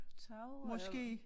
Tagrør